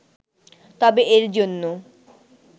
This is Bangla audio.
তবে এর জন্য